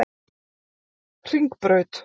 Hringbraut